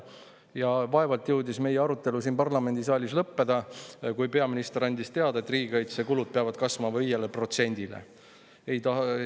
Ja vaevalt jõudis meie arutelu siin parlamendisaalis lõppeda, kui peaminister andis teada, et riigikaitsekulud peavad kasvama 5%‑ni.